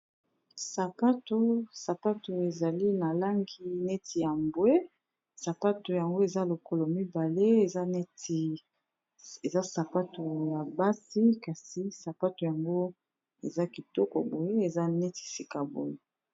Sapato ezali na langi neti ya bwe, sapato yango eza lokolo mbale eza sapato ya basi kasi sapato yango eza kitoko boye eza neti sika boye.